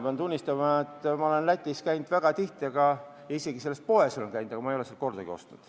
Ma pean tunnistama, et ma olen Lätis käinud väga tihti ja isegi selles poes olen käinud, aga ma ei ole sealt kordagi ostnud.